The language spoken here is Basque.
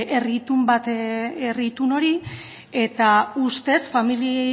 herri itun hori eta ustez familia